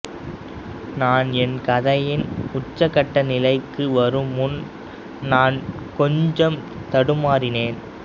நான் என் கதையின் உச்சகட்ட நிலைக்கு வரும் முன் நான் கொஞ்சம் தடுமாறினேன்